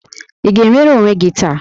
Ị ga-enwere onwe gị taa?